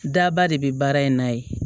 Daba de bɛ baara in na yen